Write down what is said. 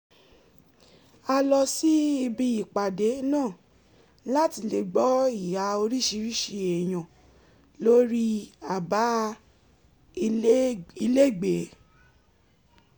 a lọ sí ibi ìpàdé náà láti lè gbọ́ ìhà oríṣiríṣi èèyàn lórí abá ilégbèé